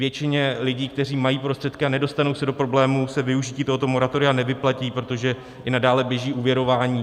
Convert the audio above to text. Většině lidí, kteří mají prostředky a nedostanou se do problémů, se využití tohoto moratoria nevyplatí, protože i nadále běží úvěrování.